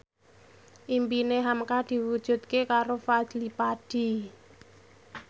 impine hamka diwujudke karo Fadly Padi